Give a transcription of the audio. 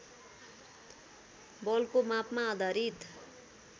बलको मापमा आधारित